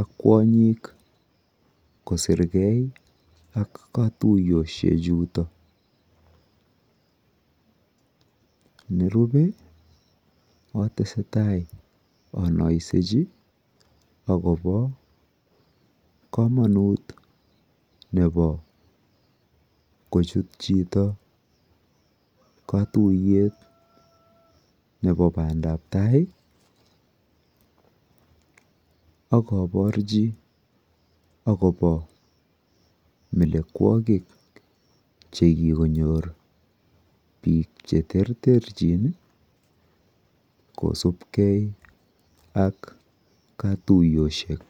ak kwonyik kosir gei ak katuyoshechutok. Nerupe atese tai anaisechi akopa kamanut nepo kochut chito katuyet nepo pandap tai ak aparchi akopa melekwakik che kikonyor piik che terterchin kosupgei ak katuyoshek.